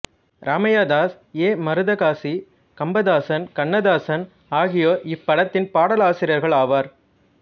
Ramaiah Das A Maruthakasi Kambadasan Kannadasan ஆகியோர் இப்படத்தின் பாடலாசிரியர்கள் ஆவர்